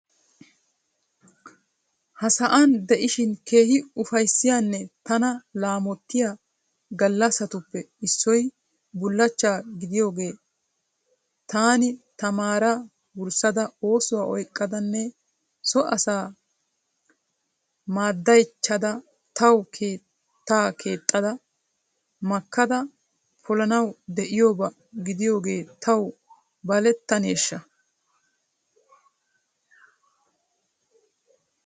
Ha sa'an de'ishin keehi uffaysiyanne tana lamotiya galassatuppe issoy bulachcha gidiyoge tani tamara wursada oosuwa oyqadane so asa maddaychada taw keetta kexxada makkada polanaw de'iyooba gidiyoge taw baletanesha?